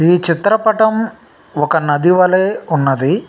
ఈ చిత్ర పఠం ఒక నది వాలే ఉన్నదీ.